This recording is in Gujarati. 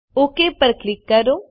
ઓક ઉપર ક્લિક કરો